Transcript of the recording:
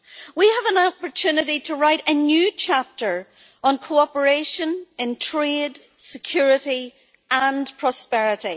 We have an opportunity to write a new chapter on cooperation in trade, security and prosperity.